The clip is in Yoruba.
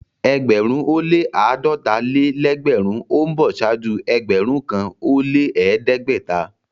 Ẹgbẹ̀rún ó lẹ́ àádọ́ta-lé-lẹ́gbẹ̀rún ó ń bọ̀ ṣáájú ẹgbẹ̀rún kan ó lẹ́ ẹ̀ẹ́dẹ́gbẹ̀ta.